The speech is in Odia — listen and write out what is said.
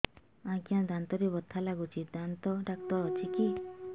ଆଜ୍ଞା ଦାନ୍ତରେ ବଥା ଲାଗୁଚି ଦାନ୍ତ ଡାକ୍ତର ଅଛି କି